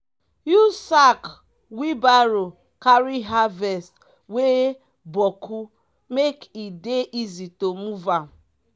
use sack wheelbarrow carry harvest wey boku make e dey easy to move am.